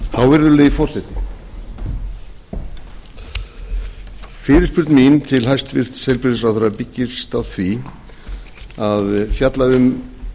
hávirðulegi forseti fyrirspurn mín til hæstvirts heilbrigðisráðherra byggist á því að fjalla um